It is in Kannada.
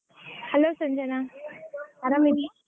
Hello ಸಂಜನಾ ಆರಾಮ್ ಇದ್ದೀ?